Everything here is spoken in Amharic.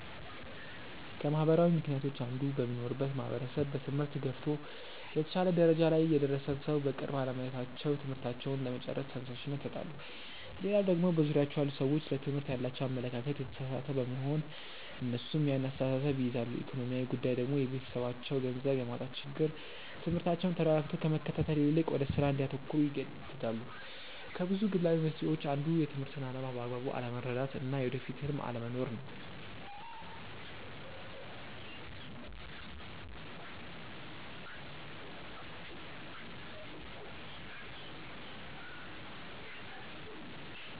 ከማህበራዊ ምክንያቶች አንዱ በሚኖሩበት ማህበረሰብ በትምህርት ገፍቶ የተሻለ ደረጃ ላይ የደረሰን ሰው በቅርብ አለማየታቸው ትምህርታቸውን ለመጨረስ ተነሻሽነት ያጣሉ። ሌላው ደግሞ በዙሪያቸው ያሉ ሰዎች ለትምህርት ያላቸው አመለካከት የተሳሳተ በመሆን እነሱም ያን አስተሳሰብ ይይዛሉ። ኢኮኖሚያዊ ጉዳይ ደግሞ የቤተሰባቸው ገንዘብ የማጣት ችግር ትምህርታቸውን ተረጋግቶ ከመከታተል ይልቅ ወደ ስራ እንዲያተኩሩ ይገደዳሉ። ከብዙ ግላዊ መንስኤዎች አንዱ የትምህርትን አላማ በአግባቡ አለመረዳት እና የወደፊት ህልም አለመኖር ነው።